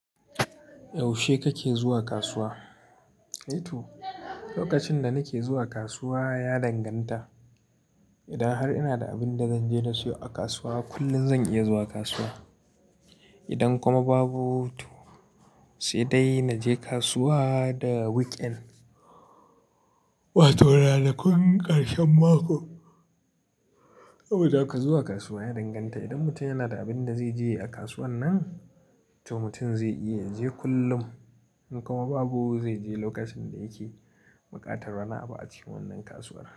Yaushe kake zuwa kasuwa? To, lokacin da nake zuwa kasuwa ya danganta. Idan har ina da abin da zanje na siyo a kasuwa, kullum zan iya zuwa kasuwa. Idan kuma babu to sai dai naje kasuwa da week end, wato ranakun ƙarshen mako. Saboda haka zuwa kasuwa ya danganta. Idan mutum yana da abin da zai je yayi kasuwan nan, to mutum zai iya ya je kullum. In kuma babu, zai je lokacin da yake buƙatar wani abu a cikin wannan kasuwar.